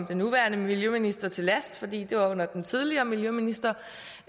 den nuværende miljøminister til last for det var under den tidligere miljøminister